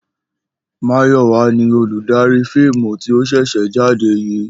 Mayò̩wá ni oludarí fíìmù tí ó s̩è̩ jáde yìí